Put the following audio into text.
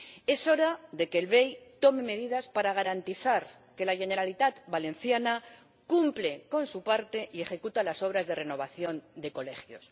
Es hora de que el BEI tome medidas para garantizar que la Generalitat Valenciana cumple con su parte y ejecuta las obras de renovación de colegios.